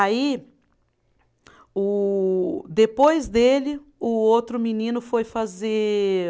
Aí, o depois dele, o outro menino foi fazer.